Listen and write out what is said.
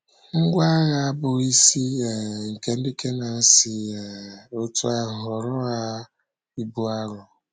Ngwá agha bụ́ isi um nke ndị Kenan si um otú ahụ ghọọrọ ha ibu arọ.